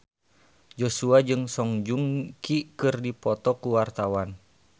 Joshua jeung Song Joong Ki keur dipoto ku wartawan